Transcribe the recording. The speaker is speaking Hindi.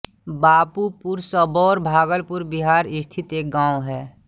बाबूपुर सबौर भागलपुर बिहार स्थित एक गाँव है